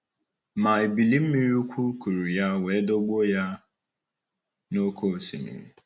Ma ebili mmiri ukwu kụrụ ya wee dọgbuo ya n’oké osimiri.